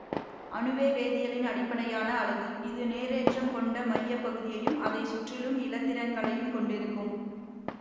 அணுவே வேதியியலின் அடிப்படையான அலகு இது நேரேற்றம் கொண்ட மைய பகுதியையும் அதை சுற்றிலும் இலத்திரன்களையும் கொண்டிருக்கும்